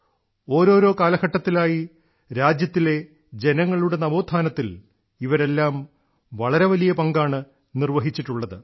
ഓരോരോ കാലഘട്ടത്തിലായി രാജ്യത്തിലെ ജനങ്ങളുടെ നവോത്ഥാനത്തിൽ ഇവരെല്ലാം വളരെ വലിയ പങ്കാണ് നിർവ്വഹിച്ചിട്ടുള്ളത്